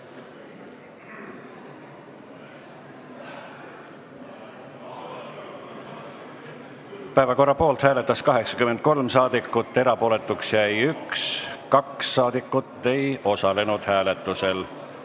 Hääletustulemused Päevakorra poolt hääletas 83 rahvasaadikut, erapooletuks jäi 1, 2 rahvasaadikut ei osalenud hääletusel.